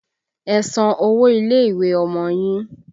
Ẹ san owó ilé ìwé Ọmọ yín!